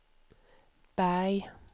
Berg